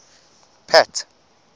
pat